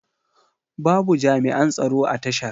Babu jami'an tsaro a tashar.